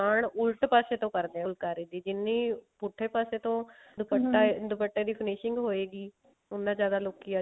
ਕਾਨ ਉਲਟ ਪਾਸੇ ਤੋਂ ਕਰਦੇ ਆ ਫੁਲਕਾਰੀ ਦੀ ਜਿੰਨੀ ਪੁੱਠੇ ਪਾਸੇ ਤੋਂ ਦੁਪੱਟੇ ਦੀ finishing ਹੋਏਗੀ ਉੰਨਾ ਜਿਆਦਾ ਲੋਕੀ